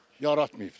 Yaratmayıblar.